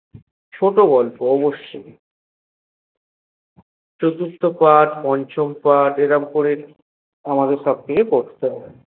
ছোট গল্পে অবশই ছোট পাঠ বড় পাঠ এভাবেই আমাদের পড়তে হয়ে